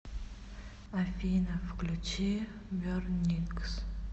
афина включи бернингс